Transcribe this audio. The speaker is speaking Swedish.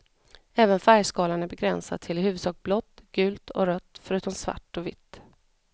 Även färgskalan är begränsad till i huvudsak blått, gult och rött förutom svart och vitt.